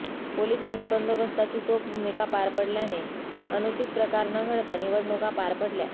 पोलिसांनी बंदोबस्ताची चोख भूमिका पार पडल्याने अनुचित प्रकार न घडता निवडणुका पार पडल्या